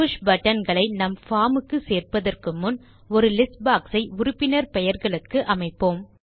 push button களை நம் form க்கு சேர்ப்பதற்கு முன் ஒரு லிஸ்ட் boxஐ உறுப்பினர் பெயர்களுக்கு அமைப்போம்